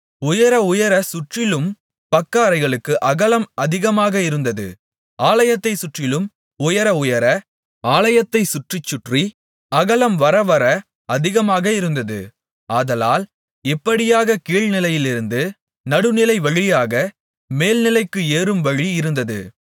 உயர உயரச் சுற்றிலும் பக்கஅறைளுக்கு அகலம் அதிகமாக இருந்தது ஆலயத்தைச் சுற்றிலும் உயர உயர ஆலயத்தைச் சுற்றிச் சுற்றி அகலம் வரவர அதிகமாக இருந்தது ஆதலால் இப்படியாக கீழ்நிலையிலிருந்து நடுநிலைவழியாக மேல்நிலைக்கு ஏறும் வழி இருந்தது